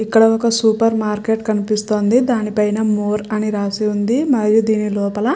ఇక్కడ ఒక supermarket కనిపిస్తుంది దాని పైన మోర్ అని రాసి ఉంది మరి దీని లోపల --